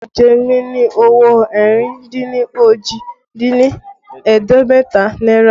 Olu jẹ mí ní owó ẹ̀rìn dín òjì dín ní ẹ̀ẹ́dẹ́gbẹ̀ta náírà